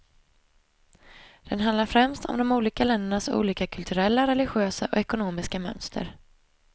Den handlar främst om de olika ländernas olika kulturella, religiösa och ekonomiska mönster.